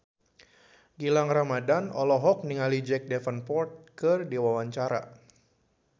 Gilang Ramadan olohok ningali Jack Davenport keur diwawancara